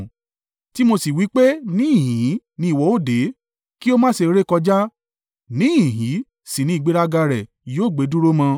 Tí mo sì wí pé níhìn-ín ni ìwọ ó dé, kí o má sì rékọjá, níhìn-ín sì ni ìgbéraga rẹ yóò gbé dúró mọ?